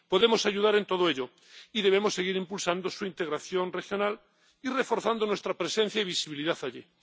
Podemos ayudar en todo ello y debemos seguir impulsando su integración regional y reforzando nuestra presencia y visibilidad allí.